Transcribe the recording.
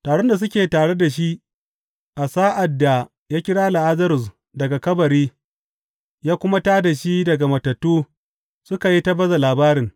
Taron da suke tare da shi a sa’ad da ya kira Lazarus daga kabari ya kuma tā da shi daga matattu suka yi ta baza labarin.